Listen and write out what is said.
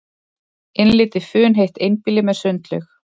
Innlit í funheitt einbýli með sundlaug